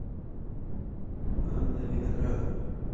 анна виноградова